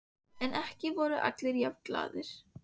En ekki voru allir jafn glaðir.